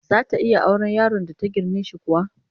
Zata iya auren yaron da ta girme shi kuwa?